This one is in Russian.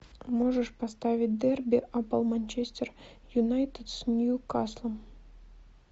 можешь поставить дерби апл манчестер юнайтед с ньюкаслом